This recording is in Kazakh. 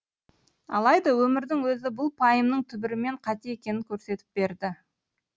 алайда өмірдің өзі бұл пайымның түбірімен қате екенін көрсетіп берді